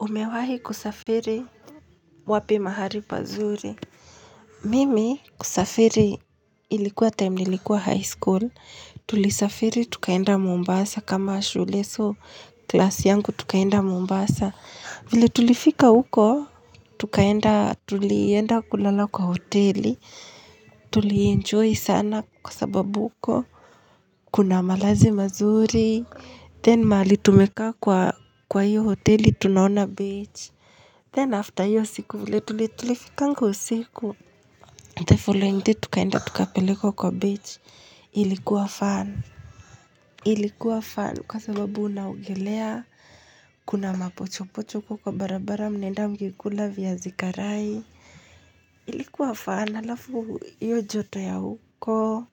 Umewahi kusafiri wapi mahali pazuri mimi kusafiri ilikuwa time nilikuwa high school tulisafiri tukaenda mombasa kama shule so class yangu tukaenda mombasa vile tulifika huko tukaenda tulienda kulala kwa hoteli tuli enjoy sana kwa sababu huko kuna malazi mazuri then mahali tumekaa kwa hiyo hoteli tunaona beach Then after iyo siku vile ilifika usiku The following day tukaenda tukapelekwa kwa beach ilikuwa fun Ilikuwa fun kwa sababu unaogelea Kuna mapochopochoko kwa barabara mnaenda mkikula viazi karai Ilikuwa fun halafu iyo joto ya huko